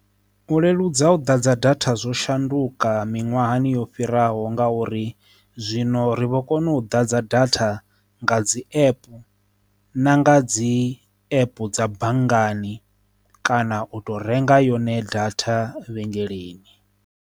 U leludza u ḓadza datha zwo shanduka miṅwahani yo fhiraho ngauri zwino ri vho kona u ḓadza datha nga dzi app na nga dzi app dza banngani kana u to renga yone datha vhengeleni.